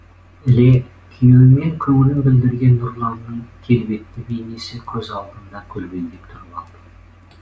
іле күйеуі мен көңілін білдірген нұрланның келбетті бейнесі көз алдында көлбеңдеп тұрып алды